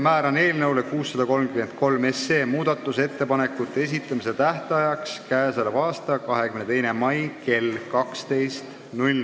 Määran eelnõu 633 muudatusettepanekute esitamise tähtajaks k.a 22. mai kell 12.